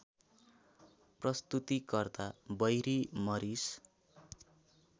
प्रस्तुतिकर्ता Barry मरिस